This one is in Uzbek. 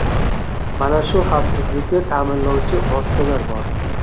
Mana shu xavfsizlikni ta’minlovchi vositalar bor.